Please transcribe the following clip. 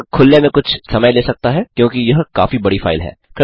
यह खुलने में कुछ समय ले सकता है क्योंकि यह काफी बड़ी फाइल है